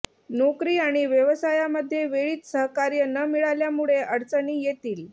नोकरी आणि व्यवसायामध्ये वेळीच सहकार्य न मिळाल्यामुळे अडचणी येतील